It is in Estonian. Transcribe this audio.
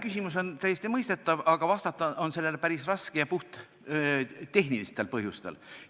Küsimus on täiesti mõistetav, aga vastata on sellele päris raske, puhttehnilistel põhjustel.